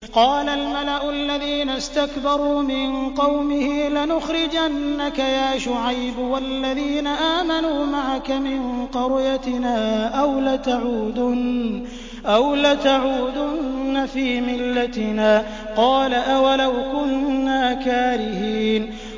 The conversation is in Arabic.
۞ قَالَ الْمَلَأُ الَّذِينَ اسْتَكْبَرُوا مِن قَوْمِهِ لَنُخْرِجَنَّكَ يَا شُعَيْبُ وَالَّذِينَ آمَنُوا مَعَكَ مِن قَرْيَتِنَا أَوْ لَتَعُودُنَّ فِي مِلَّتِنَا ۚ قَالَ أَوَلَوْ كُنَّا كَارِهِينَ